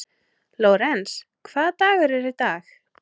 Lórens, hvaða dagur er í dag?